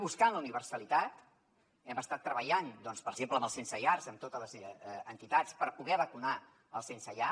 buscant la universalitat hem estat treballant doncs per exemple amb els sensellar amb totes les entitats per poder vacunar els sensellar